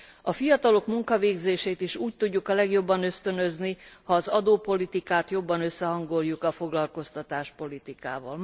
A fiatalok munkavégzését is úgy tudjuk a legjobban ösztönözni, ha az adópolitikát jobban összehangoljuk a foglalkoztatáspolitikával.